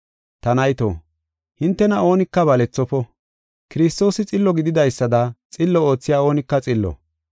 Ta nayto, hintena oonika balethofo. Kiristoosi xillo gididaysada xillo oothiya oonika xillo.